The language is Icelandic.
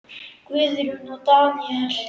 Guðrún og Daníel.